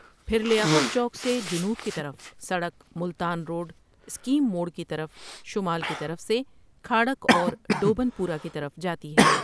پھر لیاقت چوک سے جنوب کی طرف سڑک ملتان روڈ سکیم موٖڑ کی طرف شمال کی طرف سے کھاڑک اورڈوبن پورہ کی طرف جاتی ہےٍ۔